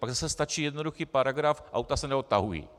Pak zase stačí jednoduchý paragraf: auta se neodtahují.